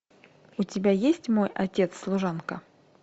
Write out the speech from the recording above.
у тебя есть мой отец служанка